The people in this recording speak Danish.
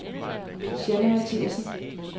Jeanne Mathiassen